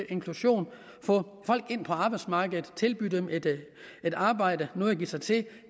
inklusion få folk ind på arbejdsmarkedet tilbyde dem et arbejde noget at give sig til